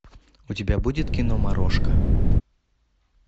у тебя будет кино морошка